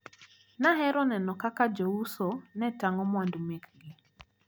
Nahero neno kaka jouso ne tang`o mwandu mekgi.